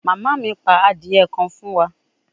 Mama mi pa adie kan fun wa